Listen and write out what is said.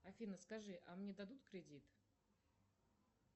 афина скажи а мне дадут кредит